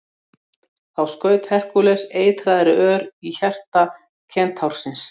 Þá skaut Herkúles eitraðri ör í hjarta kentársins.